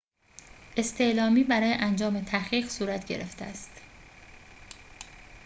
استعلامی برای انجام تحقیق صورت گرفته است